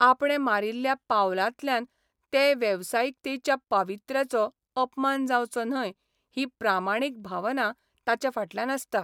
आपणे मारिल्ल्या पावलांतल्यान ते वेवसायिकतेच्या पावित्र्याचो अपमान जावचो न्हय ही प्रामाणीक भावना ताचे फाटल्यान आसता.